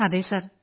അതെ സർ